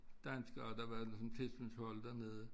Danskere der var ligesom tilsynshold dernede